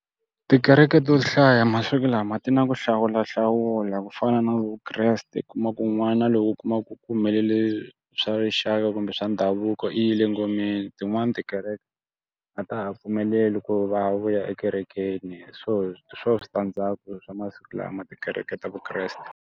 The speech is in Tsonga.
Tikereke to hlaya masiku lama ti na ku hlawulahlawula ku fana na Vukreste u kuma ku n'wana lowo u kuma ku ku humelele swa rixaka kumbe swa ndhavuko i yile ngomeni tin'wani tikereke a ta ha pfumeleli ku va vuya ekerekeni. So hi swona switandzhaku swa masiku lama tikereke ta Vukreste.